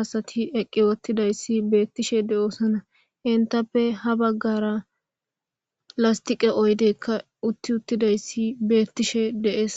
asati eqqi wottidayssi beettishe de'oosana hintappe ha baggara lastiqe oydekka utti uttidayssi beettishe dees